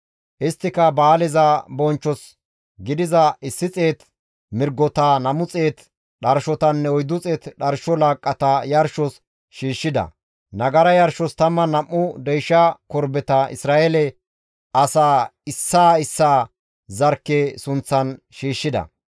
Isttika ba7aaleza bonchchos gidiza 100 mirgota, 200 dharshotanne 400 dharsho laaqqata yarshos shiishshida; nagara yarshos 12 deysha korbeta Isra7eele asaa issaa issaa zarkke sunththan shiishshida.